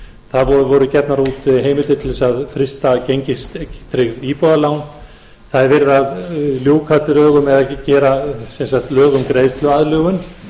það voru gefnar út heimildir til þess að frysta gengistryggð íbúðarlán það er verið að ljúka drögum eða gera sem sagt lög um greiðsluaðlögun það er